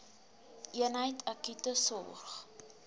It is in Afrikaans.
eenheid akute sorg